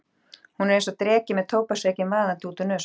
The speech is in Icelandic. Hún er einsog dreki með tóbaksreykinn vaðandi út úr nösunum.